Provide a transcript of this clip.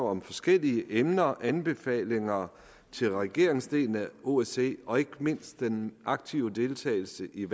om forskellige emner anbefalingerne til regeringsdelen af osce og ikke mindst den aktive deltagelse i